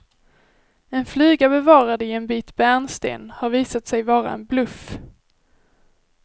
En fluga bevarad i en bit bärnsten har visat sig vara en bluff.